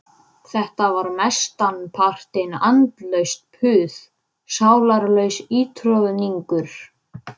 Var hlaupinn svona undarlegur galsi í hana allt í einu?